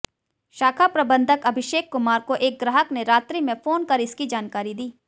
शाखा प्रबंधक अभिषेक कुमार को एक ग्राहक ने रात्रि में फोन कर इसकी जानकारी दी